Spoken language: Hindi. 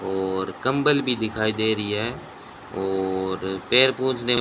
और कंबल भी दिखाई दे रही है और पैर पोछने--